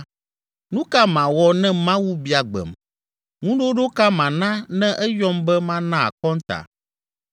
nu ka mawɔ ne Mawu bia gbem? Ŋuɖoɖo ka mana ne eyɔm be mana akɔnta?